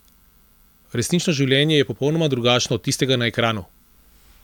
Resnično življenje je popolnoma drugačno od tistega na ekranu!